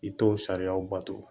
I t'o sariyaw bato